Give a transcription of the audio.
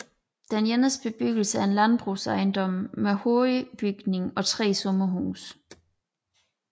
De eneste bebyggelser er en landbrugsejendom med hovedbygning og 3 sommerhuse